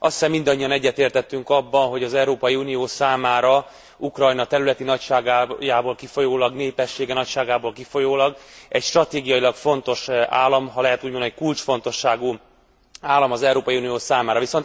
Azt hiszem mindannyian egyetértettünk abban, hogy az Európai Unió számára Ukrajna területi nagyságából kifolyólag, népessége nagyságából kifolyólag egy stratégiailag fontos állam, ha lehet úgy mondani, kulcsfontosságú állam az Európai Unió számára.